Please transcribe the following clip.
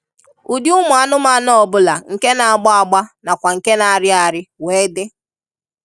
Ụdị ụmụ anụmanụ ọbụla nke na-agba agba na kwa nke na-ariari wee di.